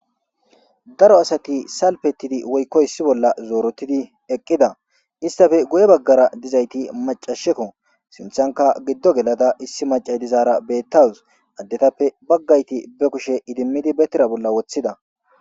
Daro asati salpettidi woykko issi bolla zoorotidi eqqida istafe guye baggara dizayti macasheko sinthanka giddo gelada issi maca dizaara bettawus addetappe baggayti be kushe idimmidi bettera bolla woththida.